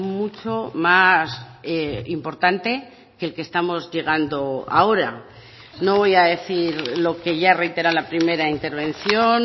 mucho más importante que el que estamos llegando ahora no voy a decir lo que ya reitera la primera intervención